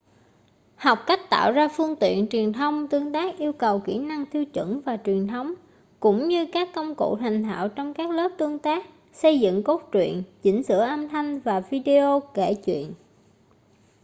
học cách tạo ra phương tiện truyền thông tương tác yêu cầu kỹ năng tiêu chuẩn và truyền thống cũng như các công cụ thành thạo trong các lớp tương tác xây dựng cốt truyện chỉnh sửa âm thanh và video kể chuyện,...